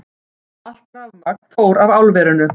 Allt rafmagn fór af álverinu